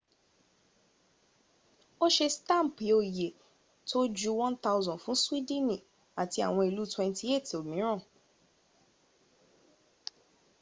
o se staampi oye to ju 1,000 fun swidini ati awon ilu 28 omiran